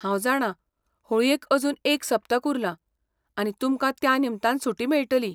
हांव जाणां होळयेक अजून एक सप्तक उरलां, आनी तुमकां त्या निमतान सुटी मेळटली.